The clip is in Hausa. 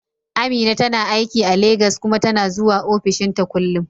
Amina tana aiki a Legas kuma tana zuwa ofishinta kullum.